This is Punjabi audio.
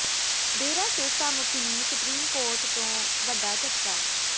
ਡੇਰਾ ਸਿਰਸਾ ਮੁਖੀ ਨੂੰ ਸੁਪਰੀਮ ਕੋਰਟ ਤੋਂ ਵੱਡਾ ਝਟਕਾ